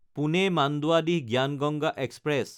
Pune Manduadih Gyan Ganga express